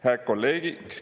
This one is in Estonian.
Hää kolleegi!